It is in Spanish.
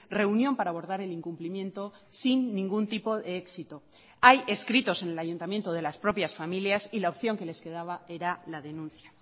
reunión para abordar el incumplimiento sin ningún tipo de éxito hay escritos en el ayuntamiento de las propias familias y la opción que les quedaba era la denuncia